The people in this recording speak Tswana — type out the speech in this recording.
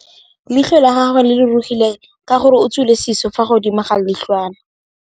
Leitlhô la gagwe le rurugile ka gore o tswile sisô fa godimo ga leitlhwana.